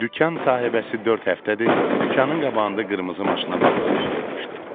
Dükan sahibəsi dörd həftədir dükanın qabağında qırmızı maşına baxdığımı görmüşdü.